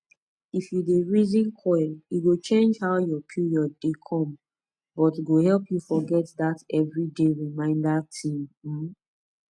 if u dey reason coil e go change how ur period dey come but go help u forget that every day reminder thing um